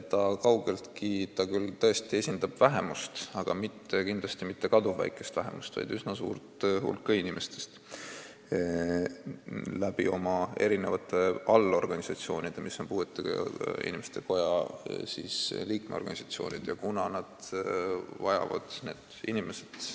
Ta küll tõesti esindab vähemust, aga kindlasti mitte kaduvväikest vähemust, vaid oma allorganisatsioonide kaudu, mis on puuetega inimeste koja liikmesorganisatsioonid, esindab ta üsna suurt hulka inimesi.